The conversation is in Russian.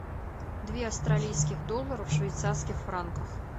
две австралийских доллара в швейцарских франках